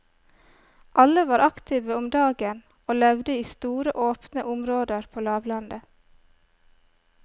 Alle var aktive om dagen og levde i store åpne områder på lavlandet.